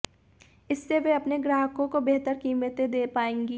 इससे वे अपने ग्राहकों को बेहतर कीमतें दे पाएंगी